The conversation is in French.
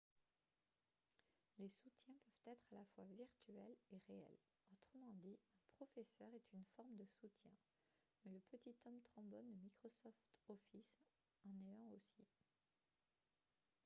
les soutiens peuvent être à la fois virtuels et réels autrement dit un professeur est une forme de soutien mais le petit homme trombone de microsoft office en est un aussi